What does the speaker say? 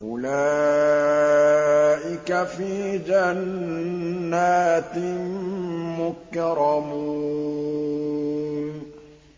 أُولَٰئِكَ فِي جَنَّاتٍ مُّكْرَمُونَ